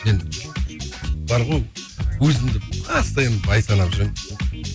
мен бар ғой өзімді постоянно бай санап жүремін